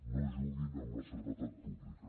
no juguin amb la seguretat pública